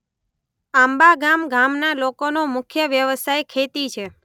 આંબાગામ ગામના લોકોનો મુખ્ય વ્યવસાય ખેતી છે.